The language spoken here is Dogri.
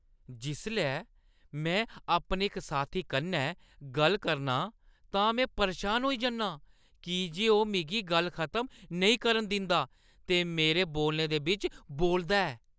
जिसलै में अपने इक साथी कन्नै गल्ल करना आं तां में परेशान होई जन्नां की जे ओह् मिगी गल्ल खतम नेईं करन दिंदा ते मेरे बोलने दे बिच्च बोलदा ऐ।